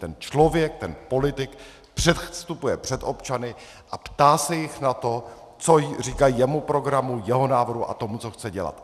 Ten člověk, ten politik předstupuje před občany a ptá se jich na to, co říkají jeho programu, jeho návrhu a tomu, co chce dělat.